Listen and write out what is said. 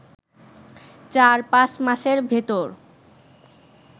চার-পাঁচ মাসের ভেতর